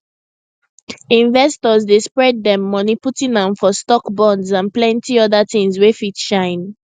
investors dey spread dem money putting am for stocks bonds and plenty other things wey fit shine